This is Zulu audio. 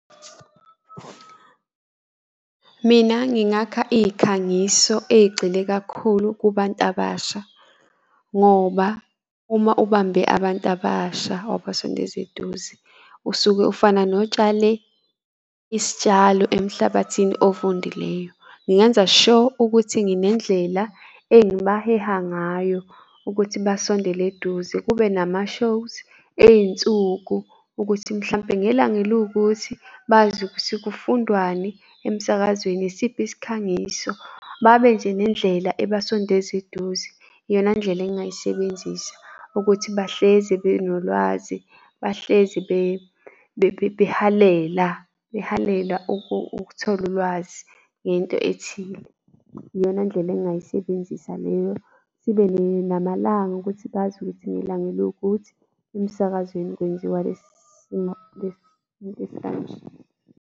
Mina ngingakha iy'khangiso ey'gxile kakhulu kubantu abasha, ngoba uma ubambe abantu abasha wabasondeza eduze usuke ofana notshale isitshalo emhlabathini ofundileyo. Ngingenza sure ukuthi nginendlela engibaheha ngayo, ukuthi basondele eduze kube nama shows ey'nsuku ukuthi mhlampe ngelanga eluwukuthi bazi ukuthi kufundwani emsakazweni, isiphi isikhangiso, babe nje nendlela abasondeza eduze. Iyona ndlela engingayisebenzisa ukuthi bahlezi benolwazi bahlezi behalela, behalela ukuthola ulwazi ngento ethile. Iyona ndlela engingayisebenzisa leyo, sibe namalanga ukuthi bazi ukuthi ngelanga eliwukuthi emsakazweni kwenziwa lesi simo lesi .